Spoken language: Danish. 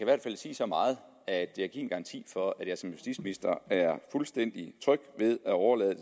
hvert fald sige så meget at jeg kan give en garanti for at jeg som justitsminister er fuldstændig tryg ved at overlade